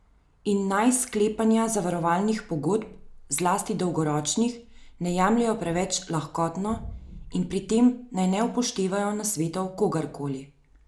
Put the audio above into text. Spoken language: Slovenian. In naj sklepanja zavarovalnih pogodb, zlasti dolgoročnih, ne jemljejo preveč lahkotno in pri tem naj ne upoštevajo nasvetov kogarkoli.